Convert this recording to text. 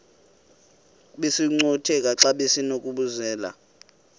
besinokucutheka xa besinokubenzela